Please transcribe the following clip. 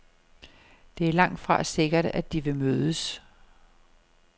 Det er langtfra sikkert, at de vil mødes.